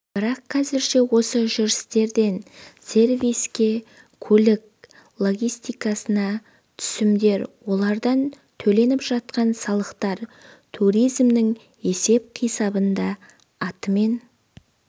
бірақ қазірше осы жүрістерден сервиске көлік логистикасына түсімдер олардан төленіп жатқан салықтар туризмнің есеп-қисабында атымен